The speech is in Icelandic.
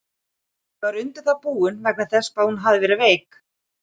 Ég var undir það búinn, vegna þess hvað hún hafði verið veik.